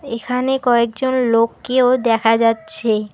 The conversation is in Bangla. এখানে কয়েকজন লোককেও দেখা যাচ্ছে।